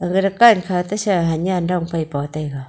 aga rukan kha tesa hanyian dong pai pao taiga.